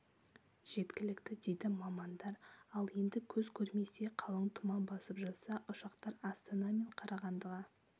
жеткілікті дейді мамандар ал енді көз көрместей қалың тұман басып жатса ұшақтар астана мен қарағандыға